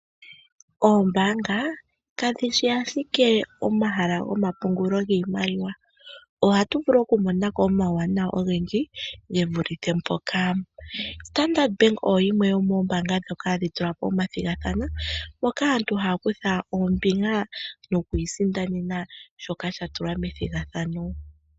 Oombanga kadhishi ashike omapunguli giimaliwa ohatu vulu okumonako omauwana ogendji gevulithe mpoka. Ombanga yaStandard odho dhimwe dhomoombanga dhoka hadhi tulapo omathigathano moka aantu haya kutha ombinga nokwiisindanena shoka shatulwa methigathano.